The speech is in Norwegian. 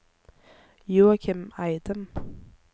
Joakim Eidem